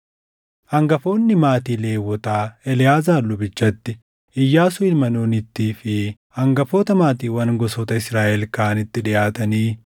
Hangafoonni maatii Lewwotaa Eleʼaazaar lubichatti, Iyyaasuu ilma Nuunittii fi hangafoota maatiiwwan gosoota Israaʼel kaanitti dhiʼaatanii